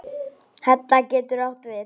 Hella getur átt við